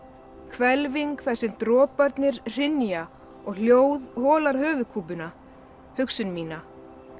hvelfing þar sem droparnir hrynja og hljóð holar höfuðkúpuna hugsun mína